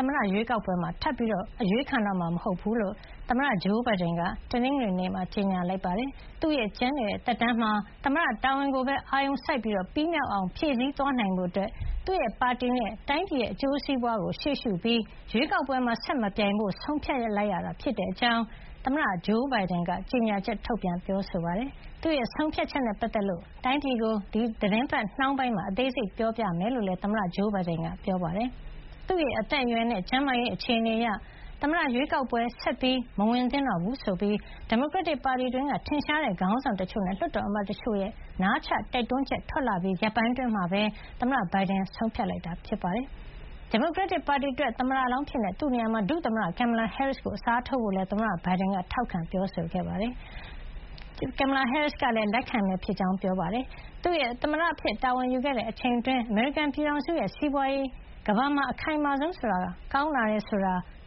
သမ္မတရွေးကောက်ပွဲမှာ ထပ်ပြီး အရွေးခံတော့မှာ မဟုတ်တဲ့အကြောင်း သမ္မတ Joe Biden က ဒီနေ့ ကြေညာပါတယ်။ သူ့ရဲ့ ကျန်ရှိနေတဲ့ သက်တမ်းမှာ သမ္မတတာဝန်ကိုပဲ အာရုံစိုက်ပြီး ပြီးမြောက်အောင် ဖြည့်ဆည်းသွားနိုင်ဖို့ ပါတီနဲ့ တိုင်းပြည်ရဲ့ အကျိုးစီးပွားကို ရှေ့ရှုပြီး ဆက်မပြိုင်တော့ဖို့ ဆုံးဖြတ်လိုက်တဲ့အကြောင်း သမ္မတ Joe Biden က ကြေညာချက် ထုတ်ပြန်ပါတယ်။ သူ့ ဆုံးဖြတ်ချက်နဲ့ ပတ်သက်လို့ တိုင်းပြည်ကို ဒီသီတင်းပတ်နှောင်းပိုင်းမှာ အသေးစိတ်ပြောပြမယ်လို့လည်း သမ္မတ Joe Biden က ပြောပါတယ်။ သူ့ရဲ့ အသက်အရွယ်နဲ့ ကျန်းမာရေးအခြေအနေအရ သမ္မတရွေးကောက်ပွဲ ဆက်မဝင်သင့်တော့ဘူးဆိုပြီး ဒီမိုကရက်တစ်ပါတီတွင်းက ထင်ရှားတဲ့ ခေါင်းဆောင်တချို့နဲ့ လွှတ်တော်အမတ်တချို့ရဲ့ နားချတိုက်တွန်းချက်တွေ ထွက်လာပြီး ရက်ပိုင်းအတွင်းမှာပဲ ဘိုင်ဒန်ရဲ့ ဆုံးဖြတ်ချက်ထွက်လာတာပါ။ ဒီမိုကရက်တစ်ပါတီအတွက် သမ္မတလောင်းအဖြစ် သူ့နေရာမှာ ဒုသမ္မတ Kamala Harris ကို အစားထိုးဖို့လည်း သမ္မတ Biden က ထောက်ခံပြောဆိုသွားပါတယ်။ သူ သမ္မတအဖြစ် တာဝန်ယူခဲ့တဲ့ အချိန်အတွင်း အမေရိကန်ပြည်ထောင်စုရဲ့ စီးပွားရေးဟာ ကမ္ဘာမှာ အခိုင်မာဆုံးဆိုတာကို